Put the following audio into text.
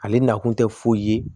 Ale nakun tɛ foyi ye